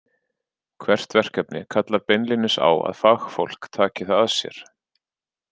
Hvert verkefni kallar beinlínis á að fagfólk taki það að sér.